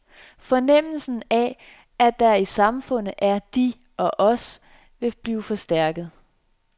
Fornemmelsen af, at der i samfundet er de og os, vil blive forstærket.